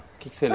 que